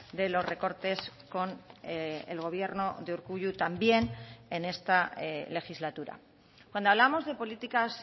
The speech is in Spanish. de los recortes con el gobierno de urkullu también en esta legislatura cuando hablamos de políticas